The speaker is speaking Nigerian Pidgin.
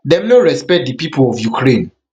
dem no respect di pipo of ukraine